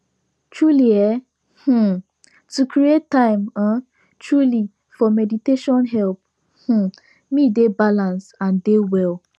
truely eeh um to create time um truely for meditation help um me dey balance and dey well